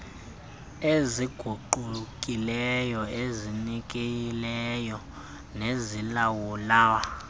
eziguqukileyo ezizinikeleyo nezilawulwa